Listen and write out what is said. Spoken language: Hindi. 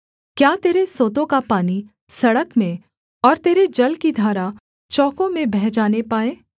क्या तेरे सोतों का पानी सड़क में और तेरे जल की धारा चौकों में बह जाने पाए